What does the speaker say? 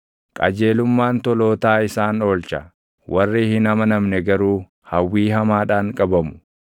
Qajeelummaan tolootaa isaan oolcha; warri hin amanamne garuu // hawwii hamaadhaan qabamu.